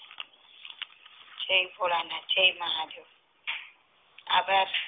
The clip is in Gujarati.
જય ભોળાનાથ જય મહાદેવ આપડા